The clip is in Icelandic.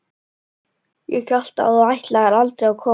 Ég hélt þú ætlaðir aldrei að koma.